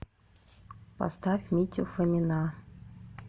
поставь митю фомина